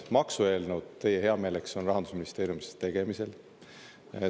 Maksueelnõud teie heameeleks on Rahandusministeeriumis tegemisel.